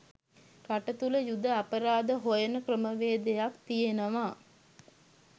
රට තුල යුධ අපරාධ හොයන ක්‍රමවේදයක් තියනවා